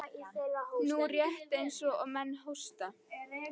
Nú, rétt eins og menn hósta.